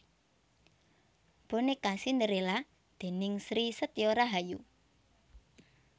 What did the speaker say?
Bonéka Cindérélla déning Sri Setyo Rahayu